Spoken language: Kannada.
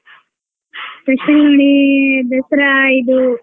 special ನೋಡಿ ದಸ್ರ ಇದು.